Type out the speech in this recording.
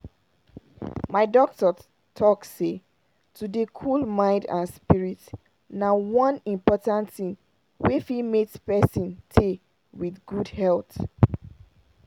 my doctor talk say to dey cool mind and spirit na one important tin wey fit make pesin tey with good health.